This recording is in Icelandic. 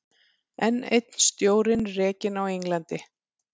Enn einn stjórinn rekinn á Englandi